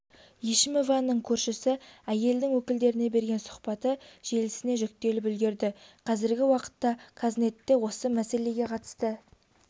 ешімованың көршісі әйелдің өкілдеріне берген сұхбаты желісіне жүктеліп үлгерді қазіргі уақытта қазнетте осы мәселеге қатысты